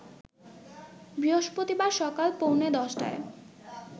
বৃহস্পতিবার সকাল পৌনে ১০টায়